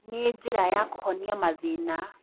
Nĩ njĩra ya kũhonia mathĩna.